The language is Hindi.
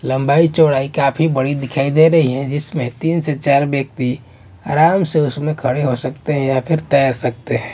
लंबाई चौड़ाई काफी बड़ी दिखाई दे रही है जिसमें तीन से चार व्यक्ति आराम से उसमें खड़े हो सकते हैं या फिर तैर सकते हैं।